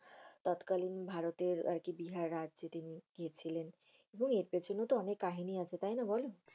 তৎকালীন ভারতের আর কি বিহার তিনি গিয়েছিলেন। এবং এর পিছনে ও তো অনেক কাহিনী আছে তাইনা বল?